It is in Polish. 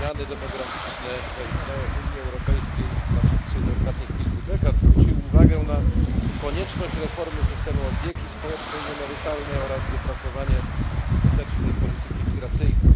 Zmiany demograficzne zaistniałe w Unii Europejskiej na przestrzeni ostatnich kilku dekad zwróciły uwagę na konieczność reformy systemu opieki społecznej i emerytalnej oraz wypracowanie skutecznej polityki migracyjnej.